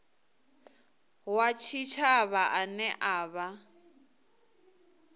wa tshitshavha ane a vha